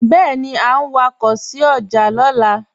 Bẹẹni a n wakọ sí ọjà naa